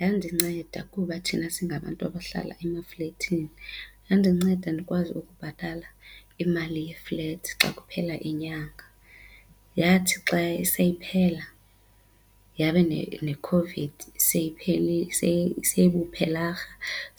Yandinceda kuba thina singabantu abahlala emaflethini yandinceda ndikwazi ukubhatala imali ye-flat xa kuphela inyanga. Yathi xa seyiphela yabe neCOVID seyibuphelarha